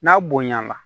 N'a bonya na